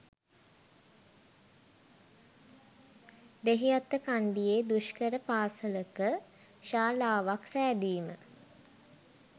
දෙහිඅත්තකන්ඩියේ දුෂ්කර පාසලක ශාලාවක් සෑදීම.